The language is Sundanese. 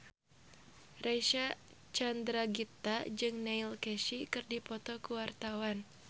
Reysa Chandragitta jeung Neil Casey keur dipoto ku wartawan